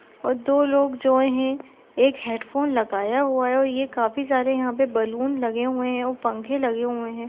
वो दो लोग जो हैं एक हैडफ़ोन लगाया हुआ है और ये काफी सारे यहाँ पे बलून लगे हुए हैं और पंखे लगे हुए हैं।